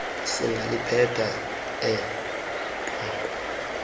singaliphetha eh nqaku